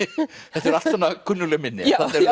þetta eru allt svona kunnugleg minni